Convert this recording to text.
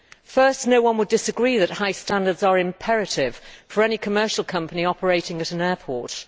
Firstly, no one would disagree that high standards are imperative for any commercial company operating at an airport.